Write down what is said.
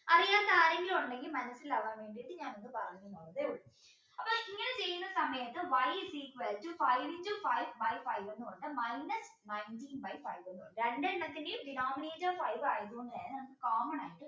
അതിൽ ആരെങ്കിലും ഉണ്ടെങ്കിൽ മനസ്സിലാവാൻ വേണ്ടിയിട്ട് ഞാനൊന്നു പറഞ്ഞു എന്നേയുള്ളൂ അപ്പോ ഇങ്ങനെ ചെയ്യുന്ന സമയത്ത് y is equal to five into five by five minus nineteen by five രണ്ടെണ്ണത്തിന്റെയും dinominator five ആയതുകൊണ്ട് തന്നെ നമുക്ക് common ആയിട്ട്